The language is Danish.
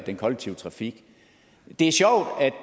den kollektive trafik er